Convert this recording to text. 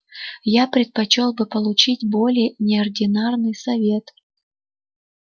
я предпочёл бы получить более неординарный совет